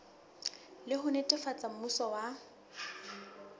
le ho netefatsa mmuso wa